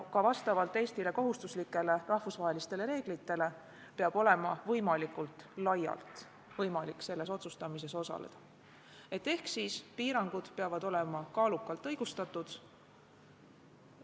Vastavalt Eestile kohustuslikele rahvusvahelistele reeglitele peab olema võimalikult laialt võimalik selles otsustamises osaleda ehk piirangud peavad olema kaalukalt õigustatud.